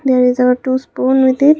There is a two spoon with it.